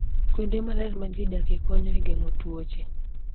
Kuonde maler ma ji odakie, konyo e geng'o tuoche.